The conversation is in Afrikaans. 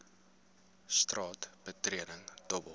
straat betreding dobbel